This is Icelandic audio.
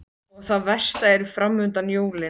Og það versta er framundan: jólin.